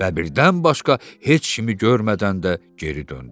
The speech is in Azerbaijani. Bəbirdən başqa heç kimi görmədən də geri döndü.